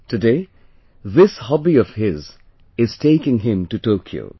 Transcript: Today this hobby of his is taking him to Tokyo